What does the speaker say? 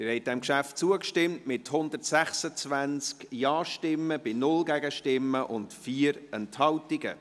Sie haben diesem Geschäft zugestimmt, mit 126 Ja-Stimmen bei 0 Gegenstimmen und 4 Enthaltungen.